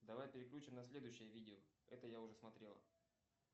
давай перключим на следующее видео это я уже смотрел